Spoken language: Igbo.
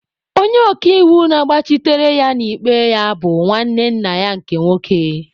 Onye ọka iwu na-agbachitere ya n'ikpe ya bụ nwanne nna ya nke nwoke.